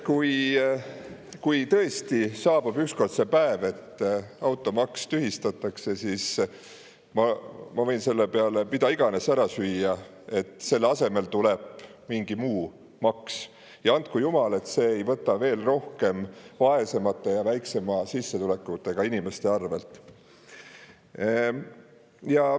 Kui tõesti saabub ükskord see päev, kui automaks tühistatakse, siis ma võin selle peale mida iganes ära süüa, et selle asemele tuleb mingi muu maks, ja andku jumal, et see ei võta veel rohkem vaesemate ja väiksema sissetulekuga inimeste arvelt.